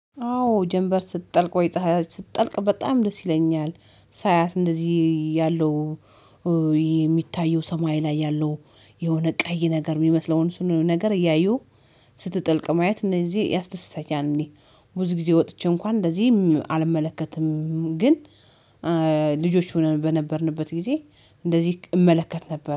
አዎ ጀንበር ስትጠልቅ ወይ ፀሀይ ስትጠልቅ በጣም ደስ ይለኛል። ሳያት እንደዚህ ያለው ይሄ የሚታየው ሰማይ ላይ ያለው የሆነ ቀይ ነገር የሚመስለውን እሱን ነገር እያየው። ስትጥልቅ ማየት እንደዚህ ያስደስታኛል እኔ። ብዙ ጊዜ ወጥቼ እንኳን እንደዚህ አልመለከትም ግን። ልጆች ሆነን በነበርንበት ጊዜ እንደዚህ እመለከት ነበር